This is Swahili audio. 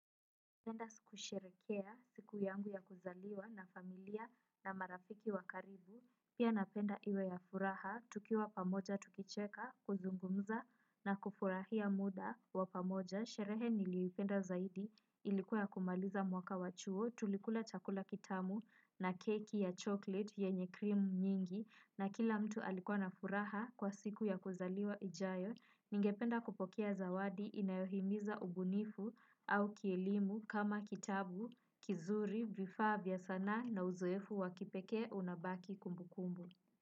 Napenda kusherekea siku yangu ya kuzaliwa na familia na marafiki wa karibu, pia napenda iwe ya furaha, tukiwa pamoja, tukicheka, kuzungumza na kufurahia muda wa pamoja, sherehe niliupenda zaidi, ilikuwa ya kumaliza mwaka wa chuo, tulikula chakula kitamu na keki ya chocolate, yenye krimu nyingi, na kila mtu alikuwa na furaha kwa siku ya kuzaliwa ijayo, ningependa kupokea zawadi inayohimiza ubunifu au kielimu kama kitabu, kizuri, vifaa vya sanaa na uzoefu wa kipekee unabaki kumbukumbu.